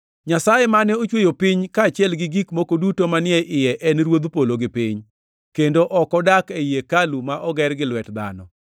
“Nyasaye mane ochweyo piny kaachiel gi gik moko duto manie iye en Ruodh polo gi piny, kendo ok odak ei hekalu ma oger gi lwet dhano,